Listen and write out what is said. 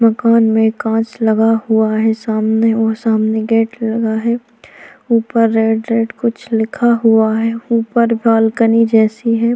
मकान में कांच लगा हुआ है सामने वहा सामने गेट लगा है उपर रेड रेड कुछ लिखा हुआ है उपर बालकनी जैसी है।